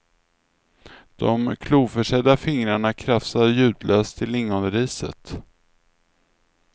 De kloförsedda fingrarna krafsar ljudlöst i lingonriset.